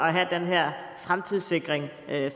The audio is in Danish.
at have den her fremtidssikring